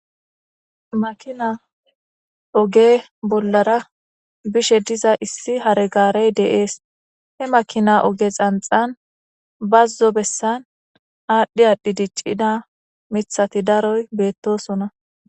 makina oge bollara bishe diza issi hare gaarey deees he makina oge xanxan bazzo bessan aadhdhi aadhi diccida mithati daroy beettosona